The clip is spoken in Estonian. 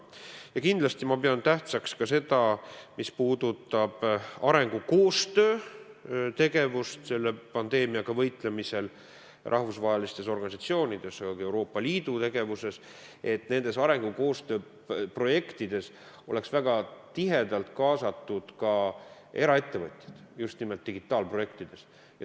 Ja kindlasti ma pean kolmandana tähtsaks ka seda, mis puudutab arengukoostöö tegevust selle pandeemiaga võitlemisel rahvusvahelistes organisatsioonides, aga ka Euroopa Liidu tegevuses, et nendes arengukoostöö projektides oleks väga tihedalt kaasatud ka eraettevõtjad, just nimelt digitaalprojektides.